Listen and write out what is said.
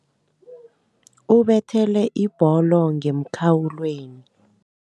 Ubethele ibholo ngemkhawulweni.